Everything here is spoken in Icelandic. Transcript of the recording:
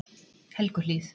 Helguhlíð